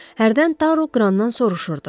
Hərdən Taru Qrandan soruşurdu.